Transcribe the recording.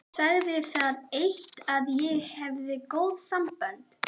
Sagði það eitt að ég hefði góð sambönd.